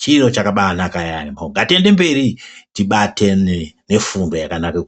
Chiro chakabanaka yaemho Ngatiende mberi, tibatane nefundo yakanake kudai.